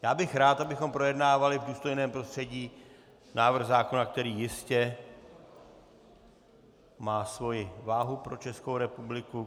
Byl bych rád, abychom projednávali v důstojném prostředí návrh zákona, který jistě má svoji váhu pro Českou republiku.